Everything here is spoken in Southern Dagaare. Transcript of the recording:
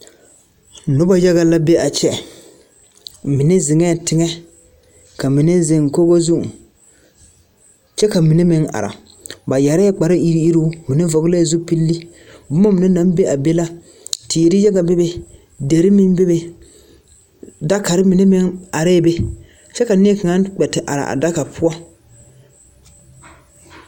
Noba yaga la be a kyɛ mine ziŋee tigŋɛ ka mine ziŋ kogo zuŋ kyɛ ka mine meŋ are ba yɛrɛɛ kpare eruŋ eruŋ ba mine vɔglɛɛ zupilli boma mine naŋ be a be ka teere yaga bebe deri meŋ bebe dakari mine meŋ are be kyɛ ka nie kaŋa kpɛ te are a daka poɔ.